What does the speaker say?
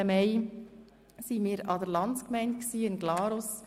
Am 7. Mai waren wir an der Landsgemeinde in Glarus.